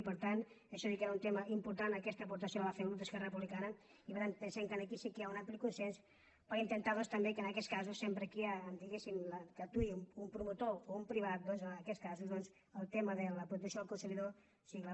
i per tant i això sí que era un tema important aquesta aportació la va fer el grup d’esquerra republicana i per tant pensem que aquí sí que hi ha un ampli consens per intentar doncs també que en aquests casos sempre diguéssim que actuï un promotor o un privat doncs en aquests casos el tema de la protecció del consumidor sigui clara